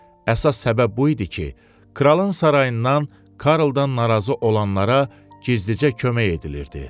Əsas səbəb bu idi ki, kralın sarayından Karldan narazı olanlara gizlicə kömək edilirdi.